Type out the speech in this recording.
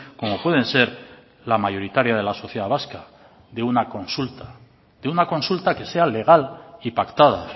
como pueden ser la mayoritaria de la sociedad vasca de una consulta de una consulta que sea legal y pactada